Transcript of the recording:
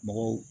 Mɔgɔw